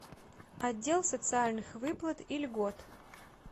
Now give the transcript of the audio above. отдел социальных выплат и льгот